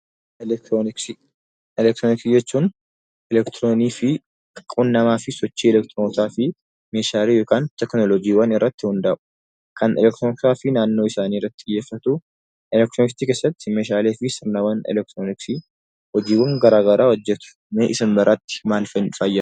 Elektirooniksii jechuu elektiroonii fi quunnamaa fi sochii elektiroonotaa fi meeshaalee yookiin teekinooloojiiwwanii irratti hundaa'u. Kan naannoo isaanii irratti xiyyeeffatu elektirooniksii fi hojiiwwan garaagaraa hojjatu. Mee isin biratti maal fa'ii?